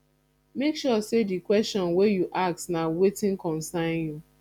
make sure say di question wey you ask na wetin concern you